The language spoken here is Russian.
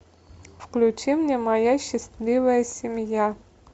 включи мне моя счастливая семья